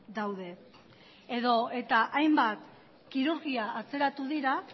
daude edota hainbat kirurgia atzeratu dira